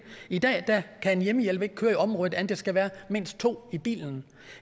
i dag kan en hjemmehjælper ikke køre i området uden at der skal være mindst to i bilen